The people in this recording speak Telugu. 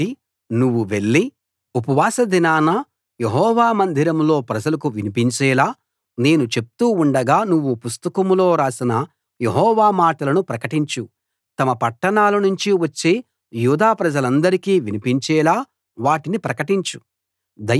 కాబట్టి నువ్వు వెళ్లి ఉపవాసదినాన యెహోవా మందిరంలో ప్రజలకు వినిపించేలా నేను చెప్తూ ఉండగా నువ్వు పుస్తకంలో రాసిన యెహోవా మాటలు ప్రకటించు తమ పట్టణాలనుంచి వచ్చే యూదా ప్రజలందరికీ వినిపించేలా వాటిని ప్రకటించు